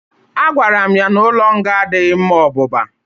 A gwara m ya n'ụlọ nga adịghị ma ọ bụba